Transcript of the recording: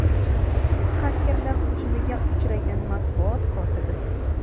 Xakerlar hujumiga uchragan matbuot kotibi.